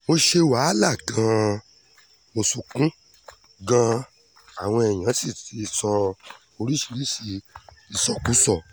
mo ti ṣe wàhálà gan-an mo sunkún gan-an àwọn èèyàn sì ti sọ oríṣìíríṣìí ìsọkúsọ